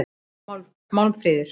Málmfríður